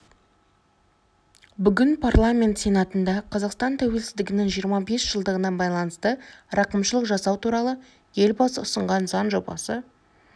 бүгін парламент сенатында қазақстан тәуелсіздігінің жиырма бес жылдығына байланысты рақымшылық жасау туралы елбасы ұсынған заң жобасы